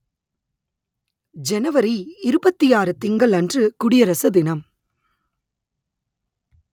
ஜனவரி இருபத்தி ஆறு திங்கள் அன்று குடியரசு தினம்